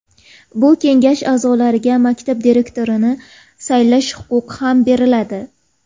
Bu kengash aʼzolariga maktab direktorini saylash huquqi ham beriladi.